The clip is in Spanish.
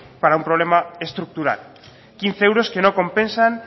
para un problema estructural quince euros que no compensan